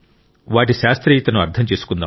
వాటి శాస్త్రీయతను అర్థం చేసుకుందాం